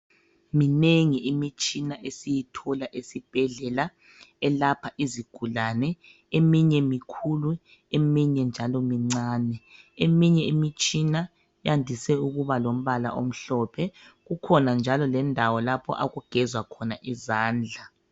Minengi imitshina esiyithola esibhedlela elapha izigulane, eminye mikhulu eminye njalo mincane. Eminye imitshina yandise ukuba lombala omhlophe, kukhona njalo lendawo lapho okugezwa khona izandla.